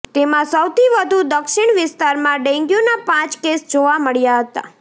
તેમાં સૌથી વધુ દક્ષિણ વિસ્તારમાં ડેન્ગ્યૂના પાંચ કેસ જોવા મળ્યા હતા